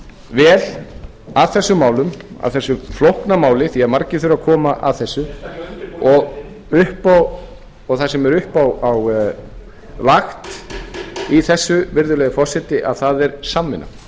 vel að þessu máli að þessu flókna máli af því margir þurfa að koma að þessu það sem er uppálagt í þessu virðulegi forseti það er samvinna